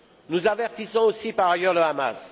Nous avertissons aussi, par ailleurs, le Hamas.